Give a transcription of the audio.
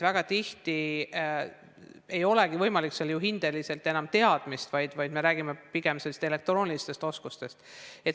Väga tihti ei olegi võimalik hindega hinnata teadmist, vaid me räägime pigem õpilase elektroonilistest oskustest.